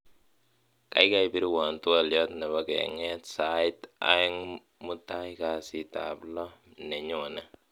gaigai pirwon twolyot nepo keng'eet sait oeng'mutai kasiit ab loo nenyone